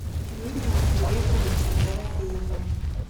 юрием ирековичем дорофеевым